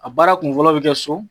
A baara kun fɔlɔ bi kɛ so